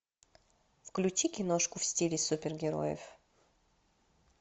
включи киношку в стиле супергероев